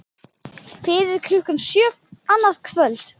Fyrir klukkan sjö annað kvöld